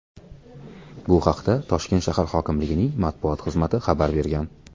Bu haqda Toshkent shahar hokimligining matbuot xizmati xabar bergan .